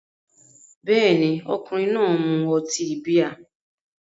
Bẹ́ẹ̀ni, ọkùnrin náà mu ọtí bíà